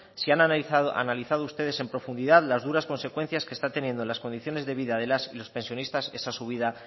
si han analizado ustedes en profundidad las duras consecuencias que están teniendo en las condiciones de vida de las y los pensionistas esa subida